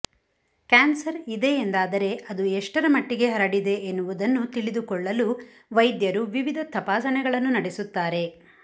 cancer ಇದೆ ಎಂದಾದರೆ ಅದು ಎಷ್ಟರ ಮಟ್ಟಿಗೆ ಹರಡಿದೆ ಎನ್ನುವುದನ್ನು ತಿಳಿದುಕೊಳ್ಳಲು ವೈದ್ಯರು ವಿವಿಧ ತಪಾಸಣೆಗಳನ್ನು ನಡೆಸುತ್ತಾರೆ